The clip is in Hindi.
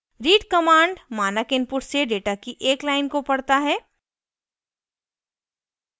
read command मानक input से data की एक line को पढ़ता है